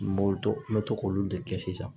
N b'o to n bɛ to k'olu de kɛ sisan